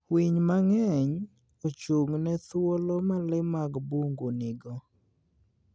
Winy mang'eny ochung'ne thuolo ma le mag bungu nigo.